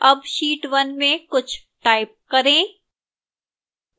अब sheet 1 में कुछ type करें